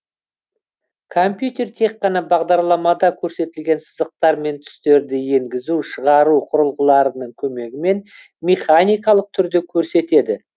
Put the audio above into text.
компьютер тек қана бағдарламада көрсетілген сызықтар мен түстерді енгізу шығару құрылғыларының көмегімен механикалық түрде көрсетеді